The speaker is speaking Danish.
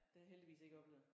Det har jeg heldigvis ikke oplevet